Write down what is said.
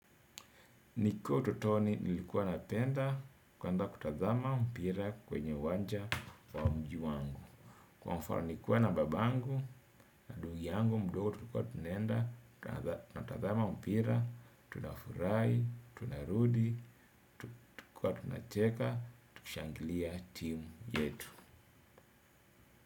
Nikiwa utotoni nilikuwa napenda kwenda kutazama mpira kwenye uwanja wa mji wangu. Kwa mfano nikiwa na babangu na ndung yangu mdogo tulikuwa tunaenda kadhaa. Natazama mpira, tunafurahi, tunarudi, tunacheka, tukishangilia timu yetu.